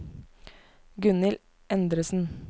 Gunhild Endresen